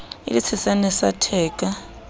e le tshesane sa theka